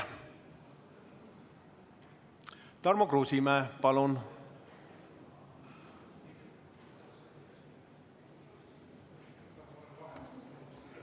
Tarmo Kruusimäe, palun!